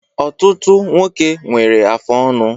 Ọtụtụ nwoke n'ewe afụ ọnụ